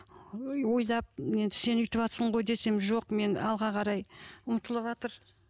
ойлап енді сен өйтіватырсың ғой десем жоқ мен алға қарай ұмтылыватыр